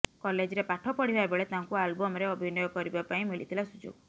କଲେଜରେ ପାଠ ପଢ଼ିବା ବେଳେ ତାଙ୍କୁ ଆଲବମ୍ରେ ଅଭିନୟ କରିବା ପାଇଁ ମିଳିଥିଲା ସୁଯୋଗ